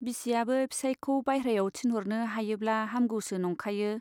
बिसियाबो फिसाइखौ बाइह्रायाव थिनह'रनो हायोब्ला हामगौसो नंखायो।